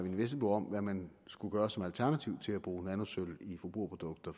vesselbo om hvad man skulle gøre som alternativ til at bruge nanosølv i forbrugerprodukter